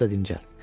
Biraz da dincəl.